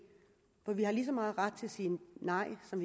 for vi har lige så meget ret til at sige nej som